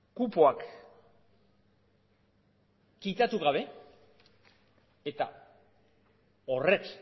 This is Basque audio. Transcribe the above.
kupoak kitatu gabe eta horrek